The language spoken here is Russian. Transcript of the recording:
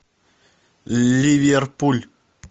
ливерпуль